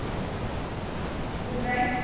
আচ্ছা, good night